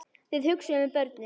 Þið hugsið um börnin.